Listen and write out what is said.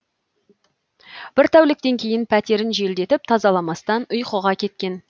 бір тәуліктен кейін пәтерін желдетіп тазаламастан ұйқыға кеткен